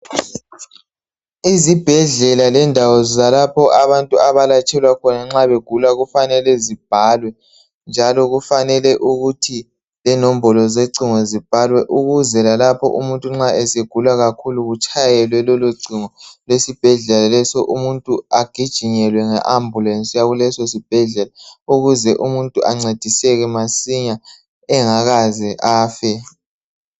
Izibhedlela lendawo zalapho abantu abalatshelwa khona nxa begula kufanele zibhalwe njalo kufanele ukuthi lenombolo zocingo zibhalwe ukuze lalapho umuntu nxa esegula kakhulu kutshayelwe lolocingo lwesibhedlela leso umuntu agijinyelwe nge ambulesi yakuleso sibhedlela ukuze umuntu ancediseke masinya engakaze afe.